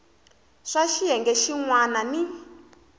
swa xiyenge xin wana ni